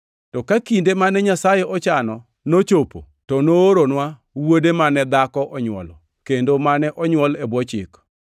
To ka kinde mane Nyasaye ochano nochopo, to nooronwa Wuode mane dhako onywolo, kendo mane onywol e bwo Chik,